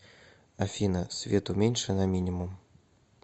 афина свет уменьши на минимум